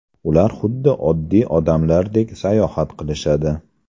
Ular xuddi oddiy odamlardek sayohat qilishadi!